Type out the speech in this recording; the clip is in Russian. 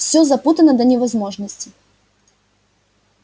все запутано до невозможности